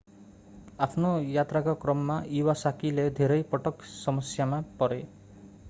आफ्नो यात्राको क्रममा इवासाकीiwasaki ले धेरै पटक समस्यामा परे।